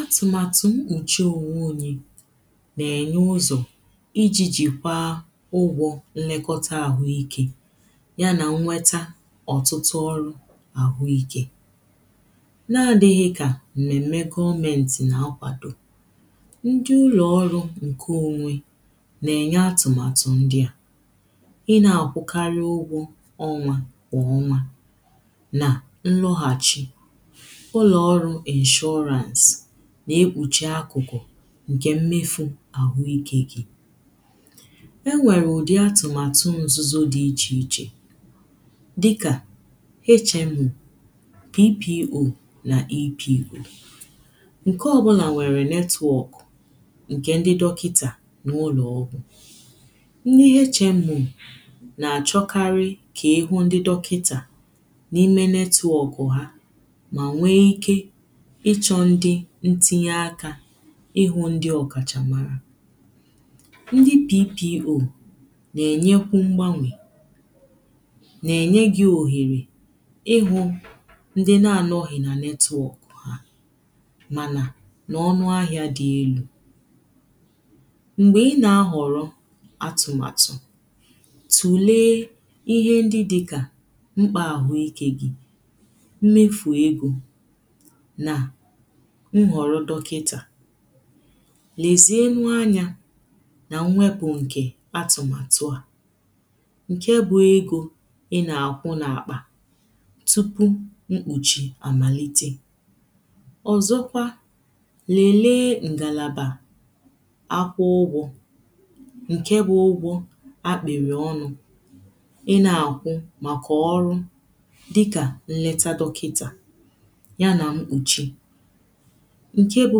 atụmatụ mkpuchi onwe onyè ná-nye ụzọ̄ ijijikwaa ụgwọ̄ nlekọtāahụikē ya na nnwetā ọtụtụ ọrụ̄ ahụikē na-adighị kà mmeme goomenti na-akwadō ndịụlọọrụ nke onwe na-enye atụmatụ ndị à ị na-akwụkarị ụgwọ ọnwā kwa ọnwā na nlọghachị̄ ụlọọrụ insurance né:kpuchi akụkụ̀ nke mmefū ahụike gi e nwere ụdị atụmatụ nzuzo dị iche iche dịkā HMO PPO na EPO nke ọbụla nwere network nke ndị dọkịtà nwe ụlọọgwụ̄ ndị HMO na-achọkarị̄ ka ịhụ ndị dọkịtā na ime network hā ma nwe ike ịchọ ndị ntinye akā ịhụ ndị ọkacha mara ndị PPO na-enyekwu mgbanwē na-enye gi ohere ịhụ̄ ndị na-anọghị na network manā na ọnụ ahịa dị elū mgbe ị na-ahọrọ̄ atụmatụ tulee ihe ndị dịkà mkpa ahụike gi mmefu egō na nhọrọ dọkịtā lezienu anya na mmwepu nkē atụmatụ à nke bụ egò ị na-ahụ na akpā tupu mkpuchi amalite ọzọkwa lelee ngalaba akwụ ụgwọ̄ nke bụ ụgwọ̄ akpịrị ọnụ̄ ị ná-áhụ maka ọrụ dịkā nleta dọkịtà ya na mkpuchi nke bụ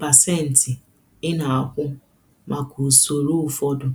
pasentị ị ná-áhụ maka usoro ụfọdụ